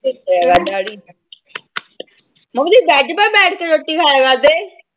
ਦੱਸਿਆ ਕਰਦਾ ਆੜੀ ਮੰਮੀ ਬੈਡ ਤੇ ਬੈਠ ਕੇ ਰੋਟੀ ਖਾਇਆ ਕਰਦੇ।